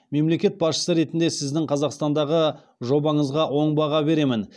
мемлекет басшысы ретінде сіздің қазақстандағы жобаңызға оң баға беремін